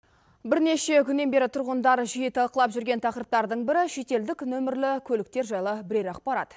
бірнеше күннен бері тұрғындар жиі талқылап жүрген тақырыптардың бірі шетелдік нөмірлі көліктер жайлы бірер ақпарат